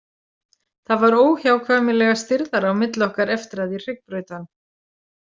Það var óhjákvæmilega stirðara á milli okkar eftir að ég hryggbraut hann.